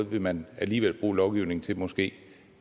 vil man alligevel bruge lovgivning til måske